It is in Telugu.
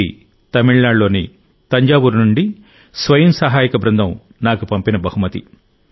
ఇది తమిళనాడులోని తంజావూరు నుండి స్వయం సహాయక బృందం నాకు పంపిన బహుమతి